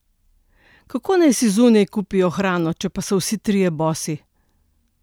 Kako naj si zunaj kupijo hrano, če pa so vsi trije bosi?